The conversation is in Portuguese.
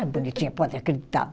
Ah, bonitinha, pode acreditar.